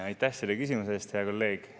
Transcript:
Aitäh selle küsimuse eest, hea kolleeg!